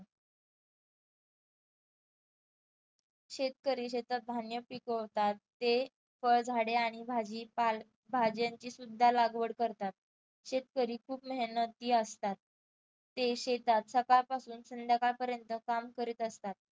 शेतकरी शेतात धान्य पिकवतात ते फळ झाडे आणि भाजीपाला भाज्यांचे सुद्धा लागवड करतात. शेतकरी खूप मेहनती असतात. ते शेतात सकाळपासून ते संध्याकाळपर्यंत काम करीत असतात.